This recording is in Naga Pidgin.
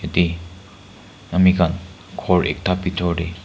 te ami khan ghor ekta bitor te--